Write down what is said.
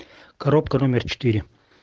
коробка номер четыре